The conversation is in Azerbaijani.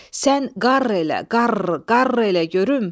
"Sən qarr elə, qarr, qarr elə görüm."